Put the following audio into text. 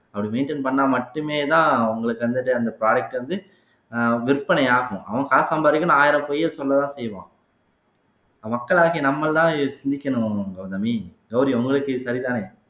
அப்படி maintain பண்ணா மட்டுமேதான் அவுங்களுக்கு வந்துட்டு அந்த product வந்து ஆஹ் விற்பனையாகும் அவன் காசு சம்பாதிக்கணும் ஆயிரம் பொய்யை சொல்லத்தான் செய்வான் மக்களாகிய நம்மதான் சிந்திக்கணும் கௌதமி கௌரி உங்களுக்கு சரிதானே